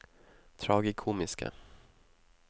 tragikomiske